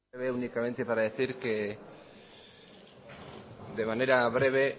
de manera breve